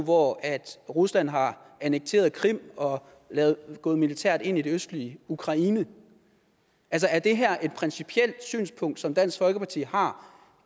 hvor rusland har annekteret krim og er gået militært ind i det østlige ukraine er det her et principielt synspunkt som dansk folkeparti har